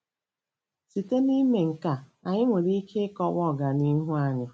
Site n'ime nke a, anyị nwere ike ịkọwa ọganihu anyị.